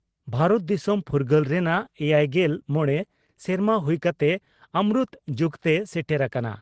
ᱵᱷᱟᱨᱚᱛ ᱫᱤᱥᱚᱢ ᱯᱷᱩᱨᱜᱟᱹᱞ ᱨᱮᱱᱟᱜᱮᱭᱟᱭᱜᱮᱞ ᱢᱚᱲᱮ ᱥᱮᱨᱢᱟ ᱦᱩᱭ ᱠᱟᱛᱮ ᱚᱢᱨᱩᱛ ᱡᱩᱜᱽᱛᱮ ᱥᱮᱴᱮᱨ ᱟᱠᱟᱱᱟ ᱾